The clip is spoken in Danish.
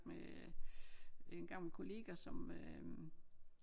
Med en gammel kollega som øh